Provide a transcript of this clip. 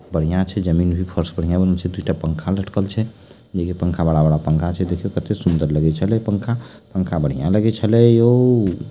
बढ़िया छै जमीन भी फर्स बढ़िया बनल छै दूटा पंखा लटकल छै पंखा बड़ा बड़ा पंखा छै देखियो कते सुन्दर लगे छले पंखा पंखा बढ़िया लगे छले यो---